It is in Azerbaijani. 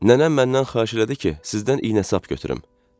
Nənəm məndən xahiş elədi ki, sizdən iynə-sap götürüm.